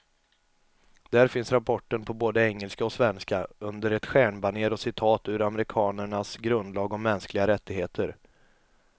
Där finns rapporten på både engelska och svenska, under ett stjärnbanér och citat ur amerikanernas grundlag om mänskliga rättigheter.